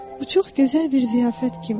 Bu çox gözəl bir ziyafət kimi idi.